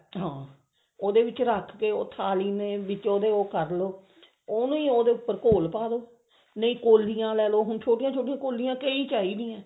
ਹਾਂ ਉਹਦੇ ਵਿੱਚ ਰੱਖ ਕੇ ਥਾਲੀ ਦੇ ਵਿੱਚ ਉਹਦੇ ਉਹ ਕਰਲੋ ਉਹਨੂੰ ਹ ਉਹਦੇ ਉੱਪਰ ਘੋਲ ਪਾ ਦੋ ਨਹੀਂ ਕੋਲੀਆਂ ਲੈਲੋ ਛੋਟੀਆਂ ਛੋਟੀਆਂ ਕੋਲੀਆਂ ਕਈ ਲੈਲੋ